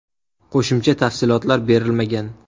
Qo‘shimcha tafsilotlar berilmagan.